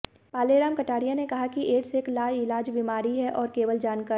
पालेराम कटारिया ने कहा कि एड्स एक लाइलाज बीमारी है और केवल जानकारी